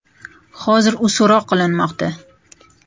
Hozir u so‘roq qilinmoqda.